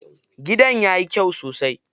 Gidan yayi kyai sosai.